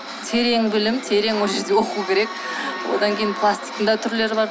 терең білім терең ол жерде оқу керек одан кейін пластиктың да түрлері бар